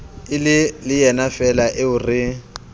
e le yenafeela eo re